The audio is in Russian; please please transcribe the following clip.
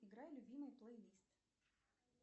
играй любимый плейлист